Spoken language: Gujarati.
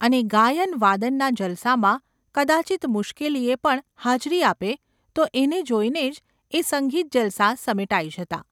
અને ગાયન–વાદનના જલસામાં કદાચિત્ મુશ્કેલીએ પણ હાજરી આપે તો એને જોઈને જ એ સંગીત જલસા સમેટાઈ જતા.